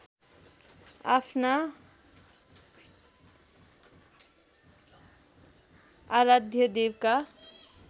आफ्ना आराध्यदेवका